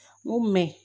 U mɛn